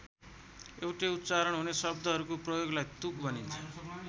एउटै उच्चारण हुने शब्दहरूको प्रयोगलाई तुक भनिन्छ।